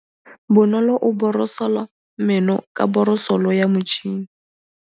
Bonolô o borosola meno ka borosolo ya motšhine.